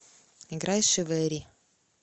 играй шивэри